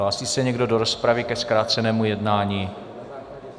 Hlásí se někdo do rozpravy ke zkrácenému jednání?